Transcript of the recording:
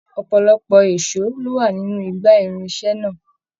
Ọpọlọpọ èsó lo wà nínú igbá irinṣẹ náà.